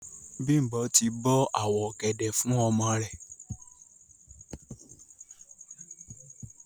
Bimbo ti bo awọ ogẹdẹ fun ọmọ rẹ.